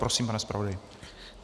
Prosím, pane zpravodaji.